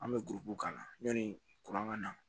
An bɛ k'a la yanni kuran ka na